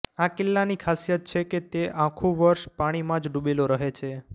આ કિલ્લાની ખાસિયત છે કે તે આખું વર્ષ પાણીમાં જ ડૂબેલો રહે છે